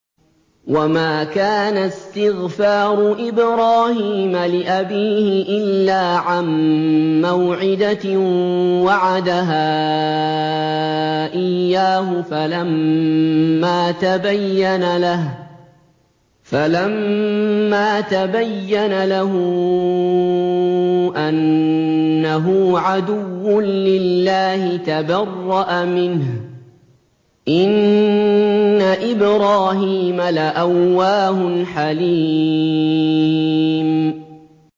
وَمَا كَانَ اسْتِغْفَارُ إِبْرَاهِيمَ لِأَبِيهِ إِلَّا عَن مَّوْعِدَةٍ وَعَدَهَا إِيَّاهُ فَلَمَّا تَبَيَّنَ لَهُ أَنَّهُ عَدُوٌّ لِّلَّهِ تَبَرَّأَ مِنْهُ ۚ إِنَّ إِبْرَاهِيمَ لَأَوَّاهٌ حَلِيمٌ